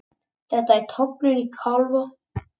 Þetta er tognun á kálfa.